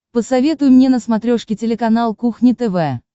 посоветуй мне на смотрешке телеканал кухня тв